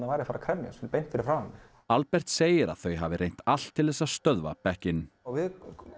væri að fara að kremjast þarna beint fyrir framan mig Albert segir að þau hafi reynt allt til þess að stöðva bekkinn við